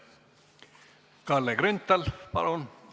Kalle Grünthal, palun!